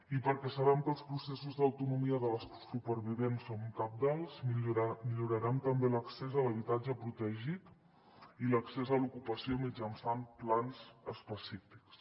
i perquè sabem que els processos d’autonomia de les supervivents són cabdals millorarem també l’accés a l’habitatge protegit i l’accés a l’ocupació mitjançant plans específics